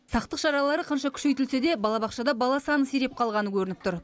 сақтық шаралары қанша күшейтілсе де балабақшада бала саны сиреп қалғаны көрініп тұр